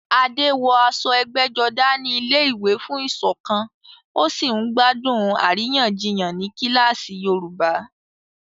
Adé wọ aṣọ ẹgbẹ́jọdá ní ilé-ìwé fún ìṣọ̀kan, ó sì ń gbádùn àríyànjiyàn ní kíláàsì Yorùbá.